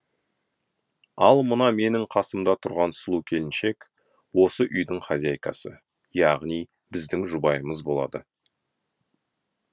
ал мына менің қасымда тұрған сұлу келіншек осы үйдің хозяйкасы яғни біздің жұбайымыз болады